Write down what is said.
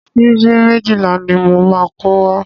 Síbí méjìlá ni mo máa kó wá.